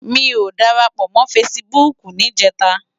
Mi ó dárápò mò fãsibúk nijètá